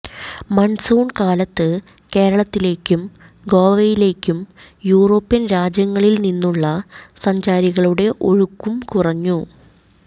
monsoon കാലത്ത് കേരളത്തിലേക്കും ഗോവയിലേക്കും യൂറോപ്യൻ രാജ്യങ്ങളിൽ നിന്നുള്ള സഞ്ചാരികളുടെ ഒഴുക്കും കുറഞ്ഞു